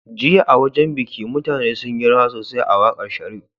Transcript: Jiya a wajan biki mutane sunyi rawa sosai a waƙar sharif